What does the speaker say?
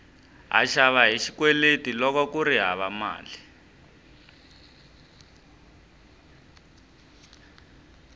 ha xava hi xikweleti loko kuri hava mali